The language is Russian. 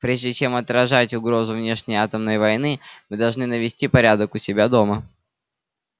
прежде чем отражать угрозу внешней атомной войны мы должны навести порядок у себя дома